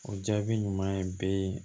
O jaabi ɲuman ye bɛɛ ye